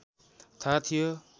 थाहा थियो